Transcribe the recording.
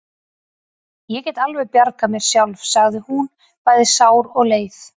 Ég get alveg bjargað mér sjálf, sagði hún, bæði sár og leið.